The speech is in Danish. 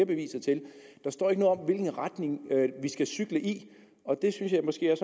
beviser til der står ikke noget om hvilken retning vi skal cykle i og det synes jeg måske er